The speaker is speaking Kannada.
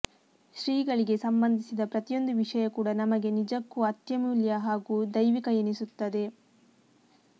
ಶ್ರೀಗಳಿಗೆ ಸಂಬಂಧಿಸಿದ ಪ್ರತಿಯೊಂದು ವಿಷಯ ಕೂಡಾ ನಮಗೆ ನಿಜಕ್ಕೂ ಅತ್ಯಮೂಲ್ಯ ಹಾಗೂ ದೈವಿಕ ಎನಿಸುತ್ತದೆ